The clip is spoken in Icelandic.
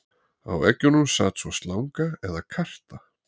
Á eggjunum sat svo slanga eða karta.